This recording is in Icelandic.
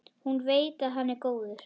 Hún veit að hann er góður.